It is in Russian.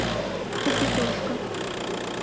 капитошка